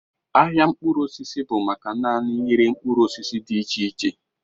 Ahịa mkpụrụ osisi bụ maka naanị ịre mkpụrụ osisi dị iche iche